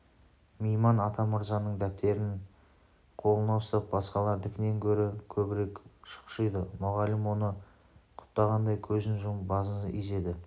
мейман атамырзаның дәптерін қолына ұстап басқалардікінен гөрі көбірек шұқшиды мұғалім оны құптағандай көзін жұмып басын изеді